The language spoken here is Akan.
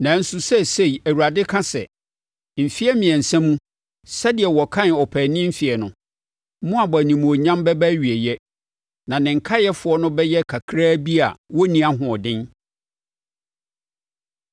Nanso seesei Awurade ka sɛ, “Mfeɛ mmiɛnsa mu, sɛdeɛ wɔkan ɔpaani mfeɛ no, Moab animuonyam bɛba awieeɛ, na ne nkaeɛfoɔ no bɛyɛ kakra bi a wonni ahoɔden.”